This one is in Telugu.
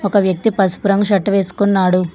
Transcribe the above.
ఒక వ్యక్తి పసుపు రంగు షర్ట్ వేసుకున్నాడు.